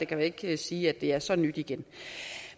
kan ikke sige at det er så nyt igen